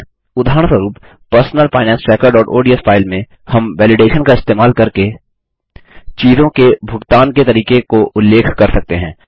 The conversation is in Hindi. उदाहरणस्वरुप personal finance trackerओडीएस फाइल में हम वैलिडेशन का इस्तेमाल करके चीज़ों के भुगतान के तरीके को उल्लेख कर सकते हैं